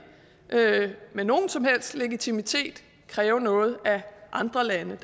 med nogen som helst legitimitet kræve noget af andre lande